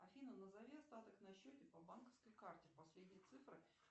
афина назови остаток на счете по банковской карте последние цифры